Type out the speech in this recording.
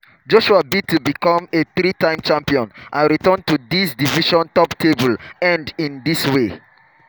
joshua bid to become a three-time champion and return to di division top table end in di way